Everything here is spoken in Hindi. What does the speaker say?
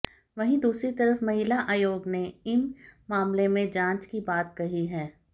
वहीं दूसरी तरफ महिला आयोग ने इम मामलें में जांच की बात कही है